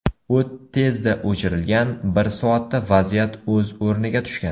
O‘t tezda o‘chirilgan, bir soatda vaziyat o‘z o‘rniga tushgan.